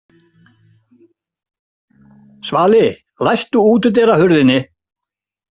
Svali, læstu útidyrahurðinni.